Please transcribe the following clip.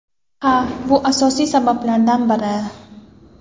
Ha, bu asosiy sabablardan biri.